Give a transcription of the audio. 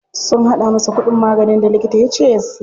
Sun haɗa masa kuɗin maganin da likita yace ya siya.